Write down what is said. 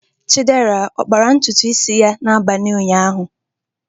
Chidera ọ kpara ntutu isi ya n'abalị ụnyaahụ?